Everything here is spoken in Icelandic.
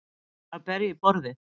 Að berja í borðið